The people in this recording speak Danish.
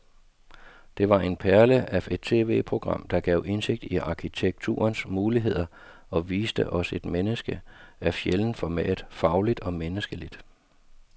Det var en perle af et tv-program, der gav indsigt i arkitekturens muligheder og viste os et menneske af sjældent format, fagligt og menneskeligt.